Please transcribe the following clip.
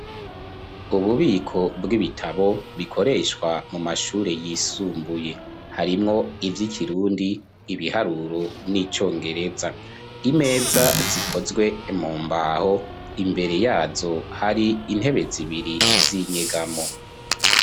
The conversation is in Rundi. Ububiko bw'ibitabo bikoreshwa mu mashuri yisumbuye. Harimwo: ivy'ikirundi, ibiharuro n'icongereza. Imeza zikozwe mu mbaho, imbere yazo har'intebe zibiri z'inyegamo.